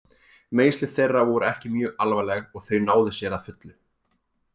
Meiðsli þeirra voru ekki mjög alvarleg og þau náðu sér að fullu.